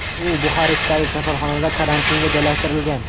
U Buxarestdagi kasalxonada karantinga joylashtirilgan.